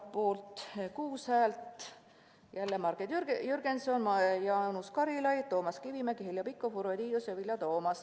Poolt oli kuus häält: jälle Marek Jürgenson, Jaanus Karilaid, Toomas Kivimägi, Heljo Pikhof, Urve Tiidus, Vilja Toomast.